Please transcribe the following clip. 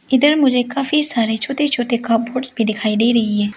इधर मुझे काफी सारे छोटे छोटे कपबोर्ड्स भी दिखाई दे रही है।